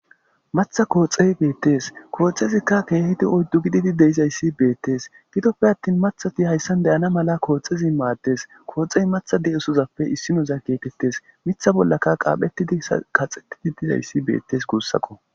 matha kooxey beettes kooxezikka keehidi oyddu gididi deizayssi beettes gidoppe attin mathati hayssan deyana mala kooxezi maaddes kooxey matha di7esozappe issinoza geekettes mitha bollaka qaaphetidi kaxxettidi dizayssi beettes guussakko